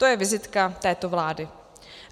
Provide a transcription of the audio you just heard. To je vizitka této vlády.